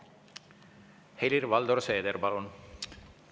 Helir-Valdor Seeder, palun!